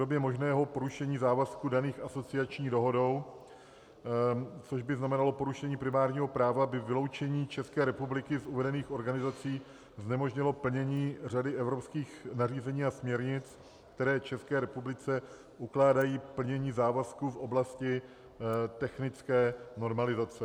Komě možného porušení závazků daných asociační dohodou, což by znamenalo porušení primárního práva, by vyloučení České republiky z uvedených organizací znemožnilo plnění řady evropských nařízení a směrnic, které České republice ukládají plnění závazků v oblasti technické normalizace.